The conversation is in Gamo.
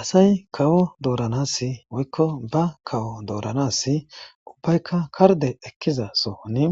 Asay kawo dooranas woykko ba kawo dooranasi ubbaykka karde ekkiza sohoni